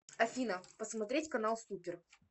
афина посмотреть канал супер